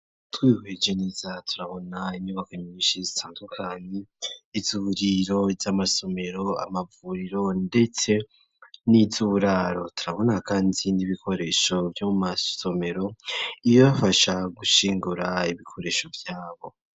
Twihweje neza turabona, inyubako nyinshi zitandukanye ,izuburiro ry'amasomero, amavuriro, ndetse n'izuburaro turabona kandi n'ibikoresho vyo mu masomero iyo yafasha gushingura ibikoresho vyabo.